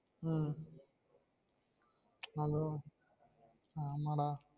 உம் hello ஆமா டா